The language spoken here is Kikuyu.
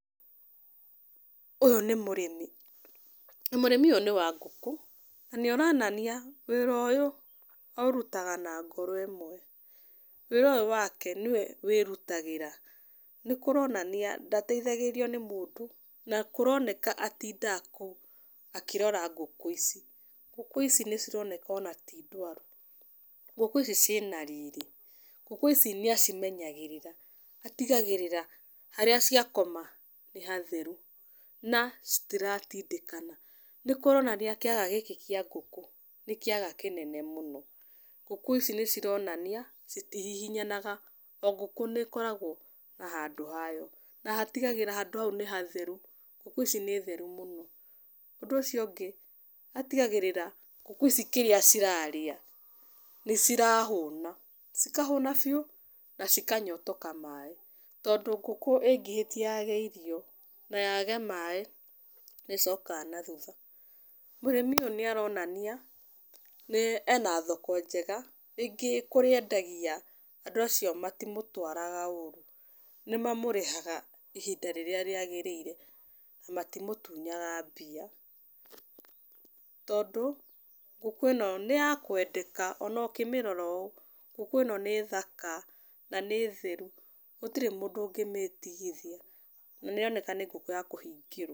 Ũyũ nĩ mũrĩmi na mũrĩmi ũyũ nĩ wa ngũkũ, na nĩaronania wĩra ũyũ aũrutaga na ngoro ĩmwe. Wĩra ũyũ wake nĩwe wĩrutagĩra, nĩkũronania ndateithagĩrĩrio nĩ mũndũ, na kũroneka atindaga kũu akĩrora ngũkũ ici. Ngũkũ ici nĩcironeka ona ti ndwaru, ngũkũ ici ciĩna riri. Ngũkũ ici nĩacimenyagĩrĩra, atigagĩrĩra harĩa cia koma nĩ hatheru na citiratindĩkana. Nĩkũronania kĩaga gĩkĩ kĩa ngũkũ nĩ kĩaga kĩnene mũno. Ngũkũ ici nĩcironania citihihinyanaga, o ngũkũ nĩkoragwo na handũ hayo na hatigagĩra handũ hau nĩ hatheru. Ngũkũ ici nĩ theru mũno. Ũndũ ũcio ũngĩ, atigagĩrĩra ngũkũ ici kĩrĩa cirarĩa nĩcirahũna, cikahũna biũ na cikanyotoka maĩ, tondũ ngũkĩ ĩngĩhitia yage irio na yage maĩ nĩĩcokaga na thutha. Mũrĩmi ũyũ nĩaronania ena thoko njega, rĩngĩ kũrĩa endagia andũ acio matimũtwaraga ũru, nĩmamũrĩhaga ihinda rĩrĩa rĩagĩrĩire na matimũtunyaga mbia, tondũ ngũkũ ĩno nĩyakwendeka, ona ũkĩmĩrora ũũ, ngũkũ ĩno nĩ thaka na nĩ theru gũtirĩ mũndũ ũngĩmĩtigithia na nĩroneka nĩ ngũkũ ya kũhingĩrwo.